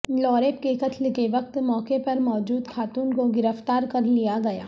لاریب کے قتل کے وقت موقع پر موجود خاتون کو گرفتار کر لیا گیا